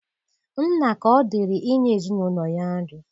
Nna ka ọ dịrị inye ezinụlọ ya nri.